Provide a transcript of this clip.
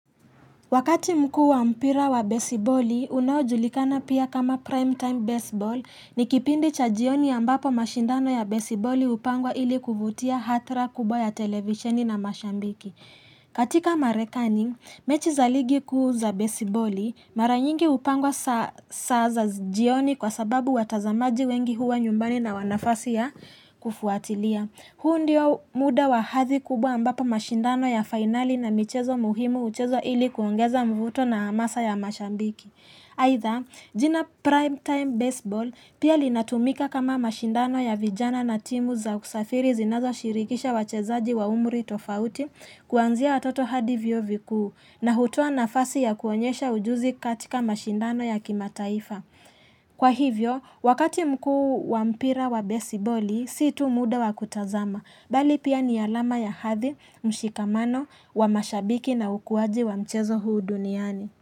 Wakati mkuu wa mpira wa besiboli, unaojulikana pia kama prime time baseball ni kipindi cha jioni ambapo mashindano ya besiboli hupangwa ili kuvutia hatra kubwa ya televisheni na mashabiki. Katika marekani, mechi za ligi kuu za besiboli, mara nyingi hupangwa saa za jioni kwa sababu watazamaji wengi huwa nyumbani na wana nafasi ya kufuatilia. Huu ndio muda wa hadhi kubwa ambapo mashindano ya finali na michezo muhimu huchezwa ili kuongeza mvuto na hamasa ya mashabiki. Aitha, jina primetime baseball pia linatumika kama mashindano ya vijana na timu za usafiri zinazo shirikisha wachezaji wa umri tofauti kuanzia watoto hadi vyuo vikuu na hutoa nafasi ya kuonyesha ujuzi katika mashindano ya kimataifa. Kwa hivyo, wakati mkuu wa mpira wa besiboli, si tu muda wa kutazama bali pia ni alama ya hathi, mshikamano, wamashabiki na ukuwaji wa mchezo huu duniani.